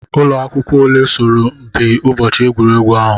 Ụlọ akwụkwọ ole soro mpi n'ụbọchị egwuregwu ahụ?